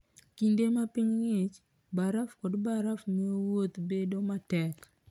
Kinde ma piny ng'ich, baraf kod baraf miyo wuotho bedo matek.